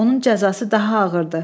Onun cəzası daha ağırdı.